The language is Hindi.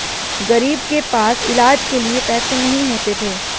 गरीब के पास इलाज के लिए पैसे नहीं होते थे